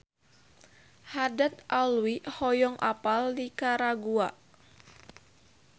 Haddad Alwi hoyong apal Nikaragua